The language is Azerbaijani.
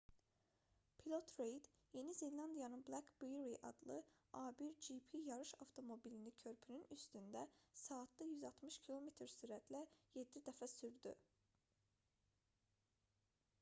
pilot reid yeni zelandiyanın black beauty adlı a1gp yarış avtomobilini körpünün üstündə saatda 160 km sürətlə 7 dəfə sürdü